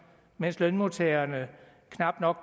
mens lønmodtagerne knap